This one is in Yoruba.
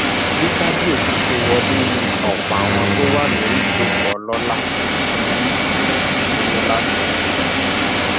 bí kábíyèsí ṣe wọlé ni ọpọ àwọn tó wà lórí ìjókòó ọlọlá ń dìde dúró láti kí i